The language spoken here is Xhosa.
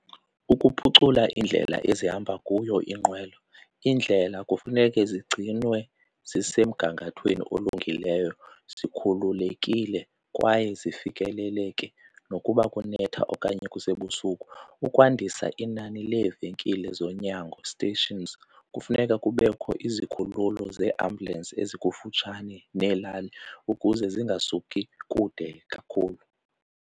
Ukuphucula iindlela ezihamba kuyo iinqwelo, iindlela kufuneke zigcinwe zisemgangathweni olungileyo, zikhululekile kwaye zifikeleleke nokuba kunetha okanye kusebusuku. Ukwandisa inani leevenkile zonyango, stations, kufuneka kubekho izikhululo zeeambulensi ezikufutshane neelali ukuze zingasuki kude kakhulu.